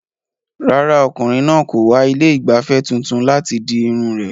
Rárá, ọkùnrin náà kò wá ilé ìgbafẹ́ tuntun láti di irun rẹ̀.